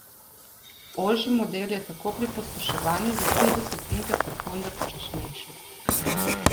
Ožji model je tako pri pospeševanju za tri desetinke sekunde počasnejši.